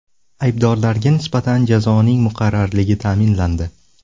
Aybdorlarga nisbatan jazoning muqarrarligi ta’minlandi.